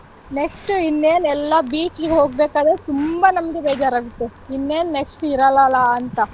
Next ಇನ್ನೇನ್ ಎಲ್ಲಾ beach ಗ್ ಹೋಗ್ಬೇಕಾದ್ರೆ ತುಂಬಾ ನಮಗೆ ಬೇಜಾರಾಗುತ್ತೆ ಇನ್ನೇನ್ next ಇರಲ್ಲಲ್ಲಾ ಅಂತ.